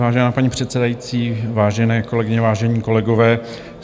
Vážená paní předsedající, vážené kolegyně, vážení kolegové.